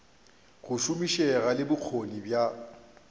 go šomišega le bokgoni bja